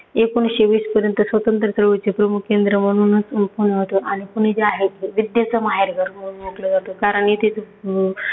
एकोणीसशे वीसपर्यंत स्वातंत्र्य चळवळीचे प्रमुख केंद्र म्हणूनच पुणे ओळखलं आणि पुणे जे आहे ते विद्येचं माहेरघर म्हणून ओळखलं जातं. कारण इथेच अह `